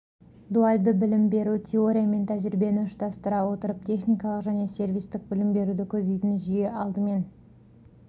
дуальды білім беру теория мен тәжірибені ұштастыра отырып техникалық және сервистік білім беруді көздейтін жүйе алдымен